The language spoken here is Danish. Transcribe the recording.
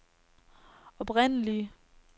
oprindelige